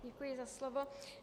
Děkuji za slovo.